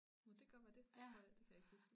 Nå det godt være det jeg tror jeg det kan jeg ikke huske